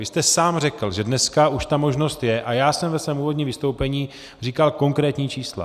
Vy jste sám řekl, že dneska už ta možnost je, a já jsem ve svém úvodním vystoupení říkal konkrétní čísla.